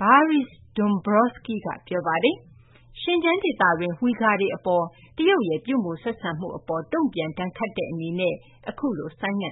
Valdis Dombrovskis က ပြောပါတယ်။ Xinjiang ဒေသတွင်းက Uyghur တွေ အပေါ် တရုတ်ရဲ့ ပြုမူ ဆက်ဆံမှု အပေါ် တုံ့ပြန် ဒဏ်ခတ်တဲ့ အနေနဲ့ အခုလို ဆိုင်းငံ့